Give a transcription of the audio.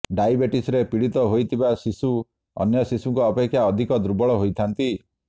ଡାଇବେଟିସ୍ରେ ପୀଡିତ ହୋଇଥିବା ଶିଶୁ ଅନ୍ୟ ଶିଶୁଙ୍କ ଅପେକ୍ଷା ଅଧିକ ଦୁର୍ବଳ ହୋଇଥାନ୍ତି